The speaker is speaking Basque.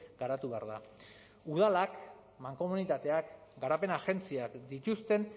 garatu behar da udalak mankomunitateak garapen agentziak dituzten